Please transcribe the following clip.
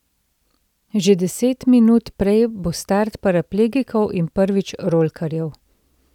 Že deset minut prej bo start paraplegikov in prvič rolkarjev.